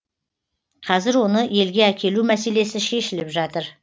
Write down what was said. қазір оны елге әкелу мәселесі шешіліп жатыр